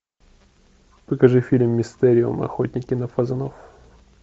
покажи фильм мистериум охотники на фазанов